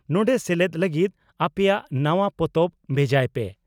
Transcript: ᱱᱚᱰᱮ ᱥᱮᱞᱮᱫ ᱞᱟᱹᱜᱤᱫ ᱟᱯᱮᱭᱟᱜ ᱱᱟᱣᱟ ᱯᱚᱛᱚᱵ ᱵᱷᱮᱡᱟᱭ ᱯᱮ